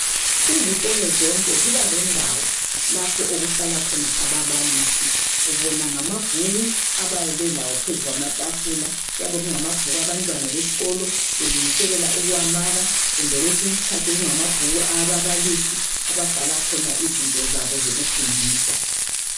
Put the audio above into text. Izikolo zonke ziba lendawo lapho okuhlala khona ababalisi. Ubona ngamabhuku abayabe belawo phezu kwamafula, kuyabe kungamabhuku abantwana besikolo belungiselela ukuwamaka kumbe kwesinye isikhathi kungamabhuku ababalisi ababhala khona izinto zabo zokufundisa.